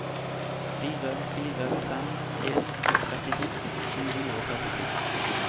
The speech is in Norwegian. fire fire fem en trettito sju hundre og trettito